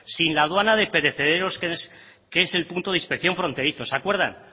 sin la aduana de perecederos que es el punto de inspección fronterizo se acuerdan